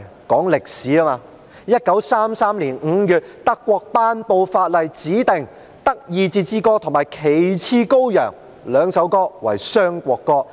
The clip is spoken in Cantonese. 當然有 ，1933 年5月，德國頒布法例指定"德意志之歌"及"旗幟高揚"兩首歌為雙國歌。